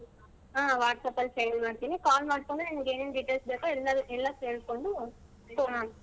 ಹಾ WhatsApp ಅಲ್ಲಿ send ಮಾಡ್ತೀನಿ call ಮಾಡ್ಕೊಂಡ್ ನಿನಿಗ್ ಏನೇನ್ details ಬೇಕೋ ಎಲ್ಲಾ ಎಲ್ಲಾ ಕೇಳ್ಕೊಂಡ್ .